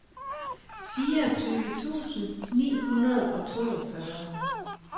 fireogtyve tusind ni hundrede og toogfyrre